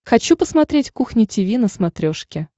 хочу посмотреть кухня тиви на смотрешке